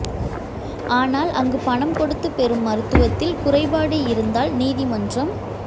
ஆனால் அங்கு பணம் கொடுத்து பெறும் மருத்துவத்தில் குறைபாடு இருந்தால் நீதிமன்றம்